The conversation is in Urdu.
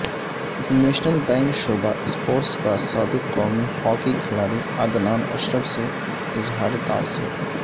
نیشنل بینک شعبہ اسپورٹس کاسابق قومی ہاکی کھلاڑی عدنان اشرف سے اظہار تعزیت